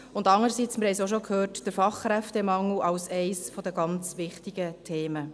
Andererseits – wir haben es auch schon gehört – ist der Fachkräftemangel eines der ganz wichtigen Themen.